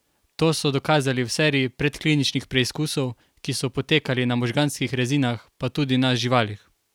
To so dokazali v seriji predkliničnih preizkusov, ki so potekali na možganskih rezinah, pa tudi na živalih.